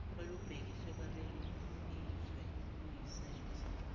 olubhekiswe kwabezizwe luyisenzo